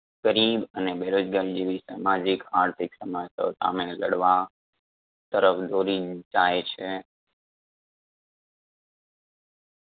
ગરીબ અને બેરોજગારી જેવી સમાજિક, આર્થિક સમસ્યાઓ સામે લડવા તરફ દોરી જાય છે.